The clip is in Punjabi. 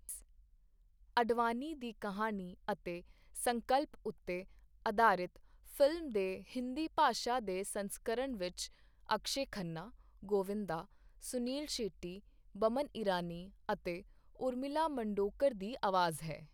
ਅਡਵਾਨੀ ਦੀ ਕਹਾਣੀ ਅਤੇ ਸੰਕਲਪ ਉੱਤੇ ਅਧਾਰਿਤ ਫਿਲਮ ਦੇ ਹਿੰਦੀ ਭਾਸ਼ਾ ਦੇ ਸੰਸਕਰਣ ਵਿੱਚ ਅਕਸ਼ੈ ਖੰਨਾ ,ਗੋਵਿੰਦਾ, ਸੁਨੀਲ ਸ਼ੈੱਟੀ, ਬਮਨ ਇਰਾਨੀ ਅਤੇ ਉਰਮਿਲਾ ਮਾਤੋਡਕਰ ਦੀ ਆਵਾਜ਼ ਹੈ